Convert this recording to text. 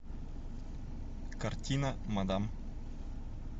картина мадам